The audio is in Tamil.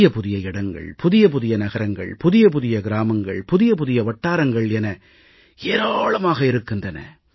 புதிய புதிய இடங்கள் புதிய புதிய நகரங்கள் புதிய புதிய கிராமங்கள் புதிய புதிய வட்டாரங்கள் என ஏராளம் இருக்கின்றன